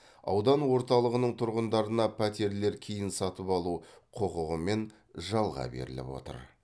аудан орталығының тұрғындарына пәтерлер кейін сатып алу құқығымен жалға беріліп отыр